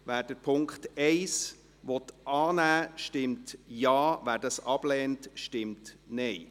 Wer den Punkt 1 annehmen will, stimmt Ja, wer diesen ablehnt, stimmt Nein.